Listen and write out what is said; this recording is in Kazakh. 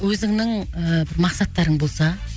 өзіңнің ііі мақсаттарың болса